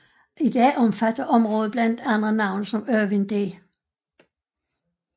I dag omfatter området blandt andre navne som Irvin D